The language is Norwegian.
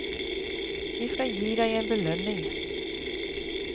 Vi skal gi deg en belønning.